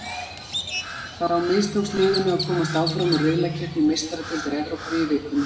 Þá mistókst liðinu að komast áfram úr riðlakeppni Meistaradeildar Evrópu í vikunni.